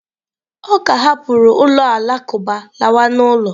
Ọ ka hapụrụ ụlọ alakụba lawa n'ụlọ.